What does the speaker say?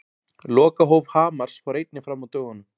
Lokahóf Hamars fór einnig fram á dögunum.